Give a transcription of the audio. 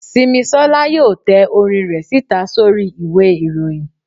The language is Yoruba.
simisola yóò tẹ orín re sita sorí ìwé iroyín